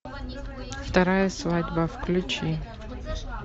вторая свадьба включи